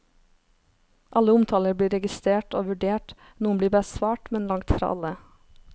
Alle omtaler blir registert og vurdert, noen blir besvart, men langt fra alle.